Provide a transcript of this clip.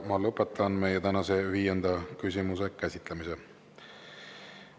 Ma lõpetan tänase viienda küsimuse käsitlemise.